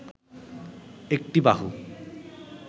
একটি বাহু